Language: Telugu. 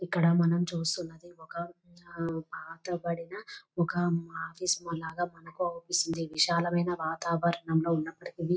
ఇక్కడ మనం చూస్తూ ఉన్నది ఒక పాత పడిన ఒక ఆఫీస్ లాగ ఆగపిస్తుంది విశాలమైన వాతావరణం లో ఉన్నప్పటికీని.